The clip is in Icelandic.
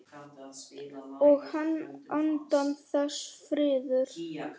Og handan þess: friður.